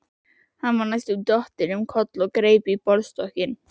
Hann var næstum dottinn um koll og greip í borðstokkinn.